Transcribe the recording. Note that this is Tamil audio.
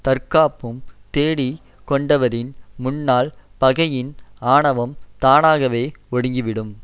தற்காப்பும் தேடிக் கொண்டவரின் முன்னால் பகையின் ஆணவம் தானாகவே ஒடுங்கி விடும்